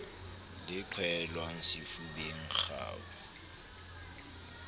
le e qhwaelwang sefubeng kgau